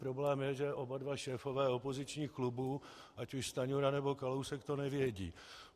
Problém je, že oba dva šéfové opozičních klubů, ať už Stanjura, nebo Kalousek, to nevědí.